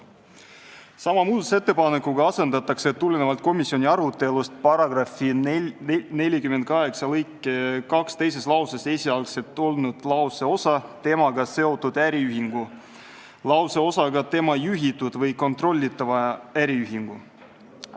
Sama muudatusettepanekuga asendatakse komisjoni arutelust tulenevalt § 48 lõike 2 teises lauses olnud lauseosa "temaga seotud äriühingu" lauseosaga "tema juhitud või kontrollitava äriühingu".